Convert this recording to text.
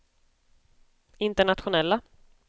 internationella